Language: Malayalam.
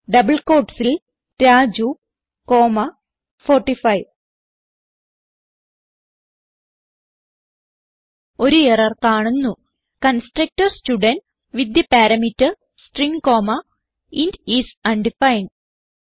ഡബിൾ quotesൽ രാജു കോമ്മ 45 ഒരു എറർ കാണുന്നു constructor student with the parameter string comma int is undefined